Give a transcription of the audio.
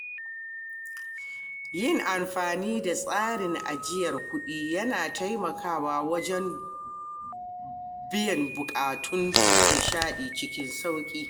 Yin amfani da tsarin ajiyar kuɗi yana taimakawa wajen biyan buƙatun nishaɗi cikin sauki.